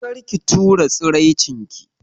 Kar ki tura tsiraicin ki.